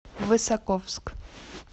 высоковск